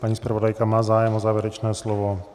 Paní zpravodajka má zájem o závěrečné slovo.